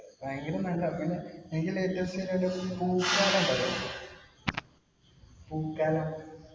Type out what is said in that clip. ഭയങ്കര നല്ലതാ. പിന്നെ എനിക്ക് latest ആയിട്ട് ഈ പൂക്കാലം ഉണ്ടല്ലോ പൂക്കാലം